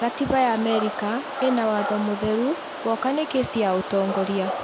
Gatiba ya America ĩna watho mũtheru woka nĩ kesi ya utongoria